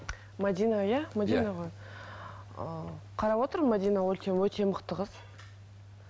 мәдина иә мәдина ғой ы қарап отырмын мәдина өте өте мықты қыз